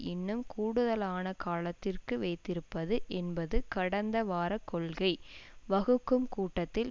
இன்னும் கூடுதலான காலத்திற்கு வைத்திருப்பது என்பதுகடந்த வார கொள்கை வகுக்கும் கூட்டத்தில்